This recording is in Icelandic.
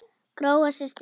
Gróa systir.